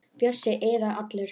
Bjössi iðar allur.